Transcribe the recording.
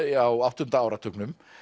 á áttunda áratugnum